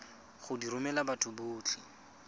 go di romela batho botlhe